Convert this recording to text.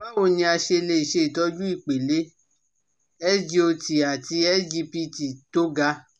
Báwo ni a ṣe lè ṣe itọju ipele SGOT àti SGPT tó ga?